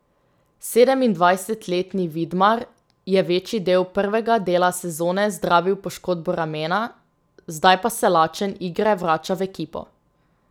Sedemindvajsetletni Vidmar je večji del prvega dela sezone zdravil poškodbo ramena, zdaj pa se lačen igre vrača v ekipo.